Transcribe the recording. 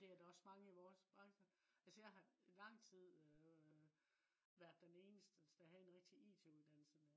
det er da også mange i vores branche altså jeg har lang tid øh været den eneste der havde en rigtig it uddannelse